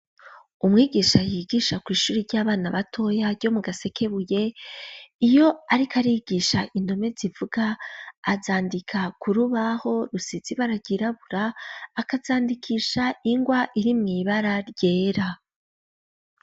Umwigisha yigisha kw'ishuri ry'abana batoya ryo mu gasekebuye iyo, ariko arigisha indome zivuga azandika ku rubaho rusizi baragirabura akazandikisha ingwa iri mw'ibara ryera.